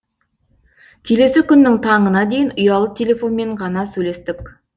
келесі күннің таңына дейін ұялы телефонмен ғана сөйлестік